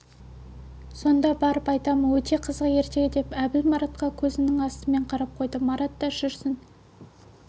сонда барып айтамын өте қызық ертегі деп әбіл маратқа көзінің астымен қарап қойды марат та жүрсін